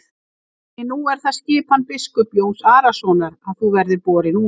Því nú er það skipan biskups Jóns Arasonar að þú verðir borin út.